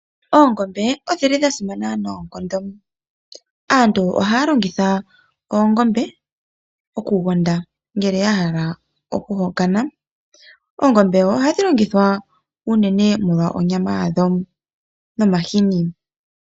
Oongombe odhili dha simana noonkondo, aantu ohaya longitha oongombe oku gonda, ngele a hala oku hokana, oongombe ohadhi longithwa unene molonyama ya dho nomahini.